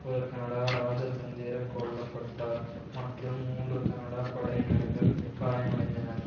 ஒரு கனடா ராஜதந்திர கொல்ல பட்டார் மற்றும் மூன்று கனடா படையினர்கள் காயமடைந்தனர்